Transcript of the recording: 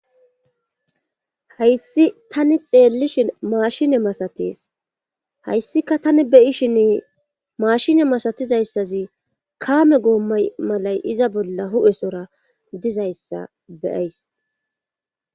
Hayssi tani xeellishin maashine masates hayssika tani beyishin maashine masatizayssazi kaame goommay malay iza bolla hu'esora dizayssa beyays.